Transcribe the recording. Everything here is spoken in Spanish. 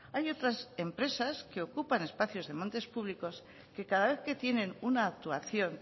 hay otras empresas que ocupan espacios de montes públicos que cada vez que tienen una actuación